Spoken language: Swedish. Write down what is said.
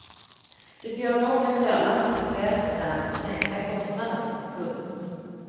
Det går dock att göra mycket själv och därmed sänka kostnaden. punkt